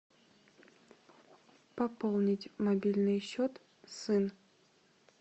пополнить мобильный счет сын